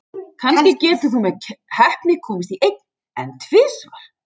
Kannski getur þú með heppni komist í einn, en tvisvar?